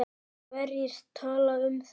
Hverjir tala um það?